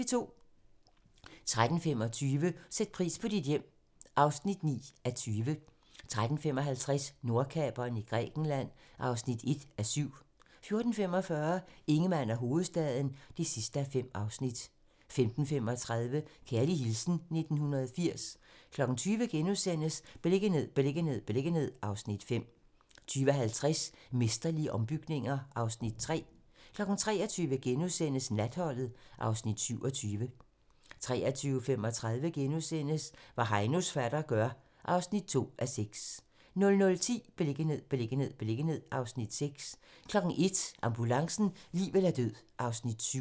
13:25: Sæt pris på dit hjem (9:20) 13:55: Nordkaperen i Grækenland (1:7) 14:45: Ingemann og hovedstaden (5:5) 15:35: Kærlig hilsen 1980 20:00: Beliggenhed, beliggenhed, beliggenhed (Afs. 5)* 20:50: Mesterlige ombygninger (Afs. 3) 23:00: Natholdet (Afs. 27)* 23:35: Hvad Heinos fatter gør (2:6)* 00:10: Beliggenhed, beliggenhed, beliggenhed (Afs. 6) 01:00: Ambulancen - liv eller død (Afs. 7)